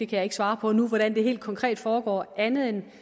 kan ikke svare på nu hvordan det helt konkret foregår andet end